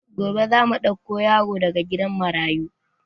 Gobe zamu ɗauko yaro daga gidan marayu